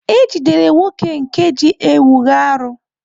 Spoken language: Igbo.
E jidere nwoke nke ji ewu raru.